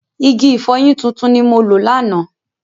Igi ìfọyín tuntun ni mo lò lánàá.